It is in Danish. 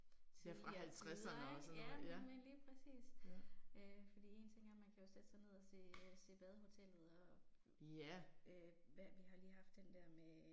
Tidligere tider ik, ja nemlig lige præcis, øh fordi en ting er man kan jo sætte sig ned og se se Badehotellet og øh hvad vi har lige haft den der med